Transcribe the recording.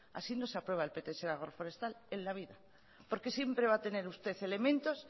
así no se aprueba el pts de agroforestal en la vida porque siempre va a tener usted elementos